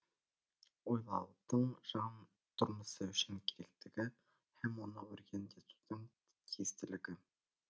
ойлаудың жан тұрмысы үшін керектігі һәм оны өркендетудің тиістілігі